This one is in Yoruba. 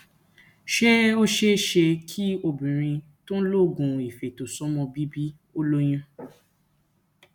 ṣé ó ṣeé ṣe kí obìnrin tó ń ń lo oògùn ifeto somo bìbí ó lóyún